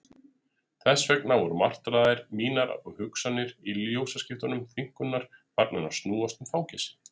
Þess vegna voru martraðir mínar og hugsanir í ljósaskiptum þynnkunnar farnar að snúast um fangelsi.